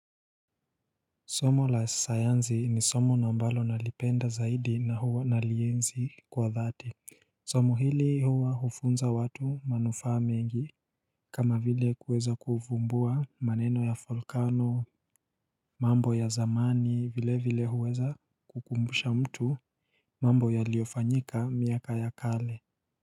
Somo la sayanzi ni somo na mbalo nalipenda zaidi na huwa nalienzi kwa dhati Somo hili huwa hufunza watu manufaa mengi kama vile kuweza kufumbua maneno ya falcano mambo ya zamani vile vile huweza kukumbusha mtu mambo ya liofanyika miaka ya kale.